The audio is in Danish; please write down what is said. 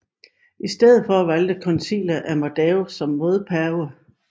I stedet valgte koncilet Amadeus som modpave